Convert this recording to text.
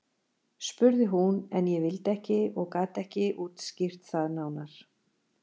spurði hún en ég vildi ekki og gat ekki útskýrt það nánar.